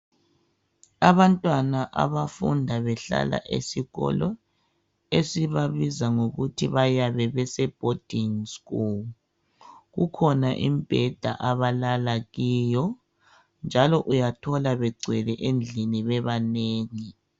Abantwana abafunda behlala esikolo esibabiza ngokuthi bayabe beseboarding school. Kukhona imibheda abalala kiyo njalo uyathola begcwele bebanengi